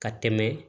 Ka tɛmɛ